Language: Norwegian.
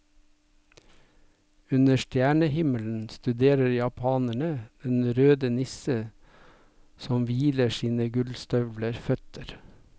Under stjernehimmelen studerer japanerne den røde nisse som hviler sine gullstøvleføtter.